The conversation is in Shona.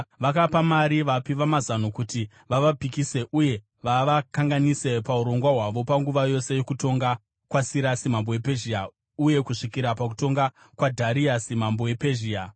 Vakapa mari vapi vamazano kuti vavapikise uye vavakanganise paurongwa hwavo panguva yose yokutonga kwaSirasi mambo wePezhia uye kusvikira pakutonga kwaDhariasi mambo wePezhia.